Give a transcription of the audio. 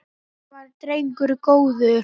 Hann var drengur góður